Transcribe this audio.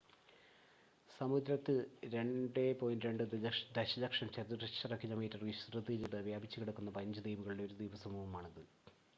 സമുദ്രത്തിൽ 2.2 ദശലക്ഷം ചതുരശ്ര കിലോമീറ്റർ വിസ്തൃതിയിൽ വ്യാപിച്ചു കിടക്കുന്ന 15 ദ്വീപുകളുടെ ഒരു ദ്വീപസമൂഹമാണ് ഇത്